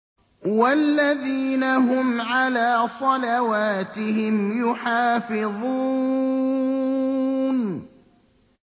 وَالَّذِينَ هُمْ عَلَىٰ صَلَوَاتِهِمْ يُحَافِظُونَ